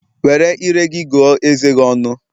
Were ire gị gụọ eze gi ọnụ